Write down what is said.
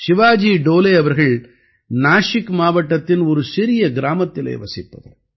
சிவாஜி டோலே அவர்கள் நாஸிக் மாவட்டத்தின் ஒரு சிறிய கிராமத்திலே வசிப்பவர்